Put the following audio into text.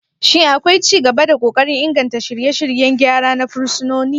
Shin akwai ci gaba da kokarin inganta shirye-shiryen gyara na fursunoni?